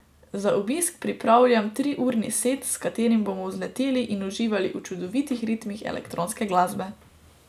Za obisk pripravljam triurni set, s katerim bomo vzleteli in uživali v čudovitih ritmih elektronske glasbe.